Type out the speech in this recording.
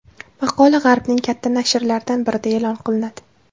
Maqola g‘arbning katta nashrlaridan birida e’lon qilinadi.